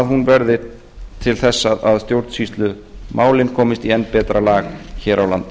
hún verði til þess að stjórnsýslumálin komist í enn betra lag hér á landi